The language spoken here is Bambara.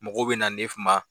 Mɔgɔw bɛ na ne ma